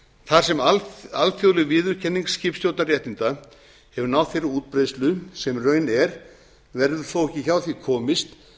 þar sem alþjóðleg viðurkenning skipstjórnarréttinda hefur náð þeirri útbreiðslu sem raun er verður þó ekki hjá því komist